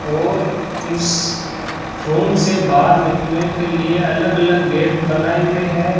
और इस रूम से बाहर निकलने के लिए अलग अलग गेट बनाए हुए है।